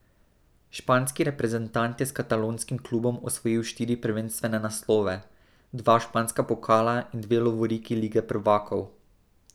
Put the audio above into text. Španski reprezentant je s katalonskim klubom osvojil štiri prvenstvene naslove, dva španska pokala in dve lovoriki lige prvakov.